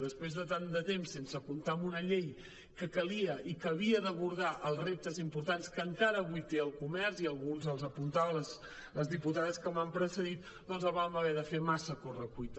després de tant de temps sense comptar amb una llei que calia i que havia d’abordar els reptes importants que encara avui té el comerç i alguns els apuntaven les diputades que m’han precedit doncs la vam haver de fer massa a correcuita